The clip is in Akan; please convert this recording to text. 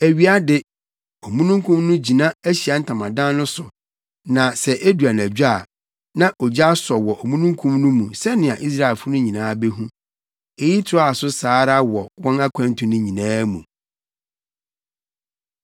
Awia de, omununkum no gyina Ahyiae Ntamadan no so na sɛ edu anadwo a, na ogya asɔ wɔ omununkum no mu sɛnea Israelfo no nyinaa behu. Eyi toaa so saa ara wɔ wɔn akwantu no nyinaa mu.